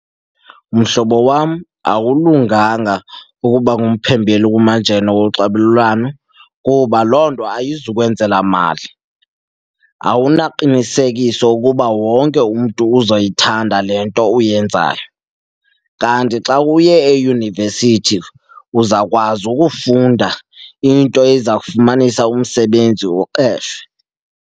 Mhlobo wam, awulunganga ukuba ngumphembeli kumajelo onxibelelwano kuba loo nto ayizukwenzala mali. Awunaqinisekiso ukuba wonke ke umntu uzoyithanda le nto uyenzayo, kanti xa uye eyunivesithi uzawukwazi ukufunda into eza kufumanisa umsebenzi uqeshwe.